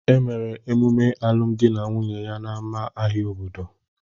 Emere emume alụmdi na nwunye ya n'ámá ahịa obodo